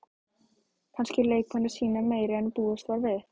Kannski eru leikmenn að sýna meira en búist var við?